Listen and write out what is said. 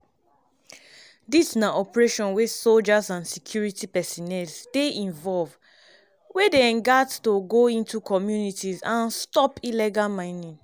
dis na operation wia soldiers and security personnel dey involve wey dey gat to go into communities and stop illegal mining.